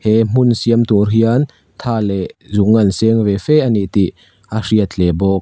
he hmun siam tur hian tha leh zung an seng ve fe ani tih a hriat hle bawk.